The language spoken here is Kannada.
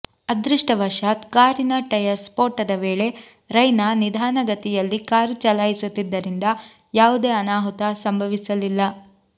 ಅದೃಷ್ಛವಶಾತ್ ಕಾರಿನ ಟಯರ್ ಸ್ಪೋಟದ ವೇಳೆ ರೈನಾ ನಿಧಾನ ಗತಿಯಲ್ಲಿ ಕಾರು ಚಲಾಯಿಸುತ್ತಿದ್ದುದರಿಂದ ಯಾವುದೇ ಅನಾಹುತ ಸಂಭವಿಸಲಿಲ್ಲ